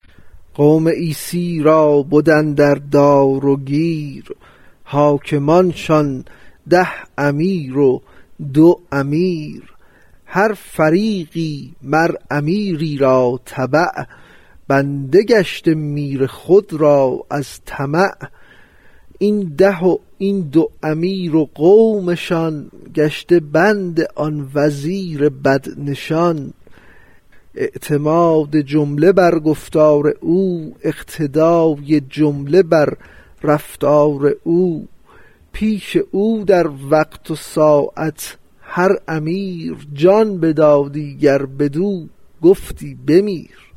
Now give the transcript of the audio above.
قوم عیسی را بد اندر دار و گیر حاکمانشان ده امیر و دو امیر هر فریقی مر امیری را تبع بنده گشته میر خود را از طمع این ده و این دو امیر و قومشان گشته بند آن وزیر بد نشان اعتماد جمله بر گفتار او اقتدای جمله بر رفتار او پیش او در وقت و ساعت هر امیر جان بدادی گر بدو گفتی بمیر